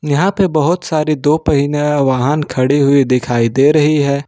यहां पे बहोत सारी दो पहिना वाहन खड़ी हुई दिखाई दे रही है।